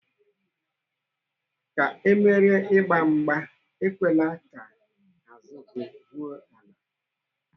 Ka Ị merie n'ịgba mgba, ekwela ka azụ gị ruo ala.